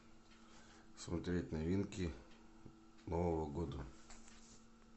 смотреть новинки нового года